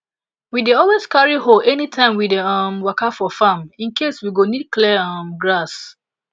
we dey always carry hoe anytime we dey um waka for farm in case we go need clear um grass